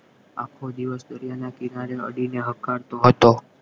આખો દિવસ દરિયાના કિનારે અડીને હકાર તો હતો